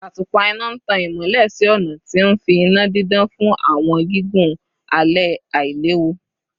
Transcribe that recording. Atupa ina n tan imọlẹ si ọna, ti nfi ina didan fun awọn gigun alẹ ailewu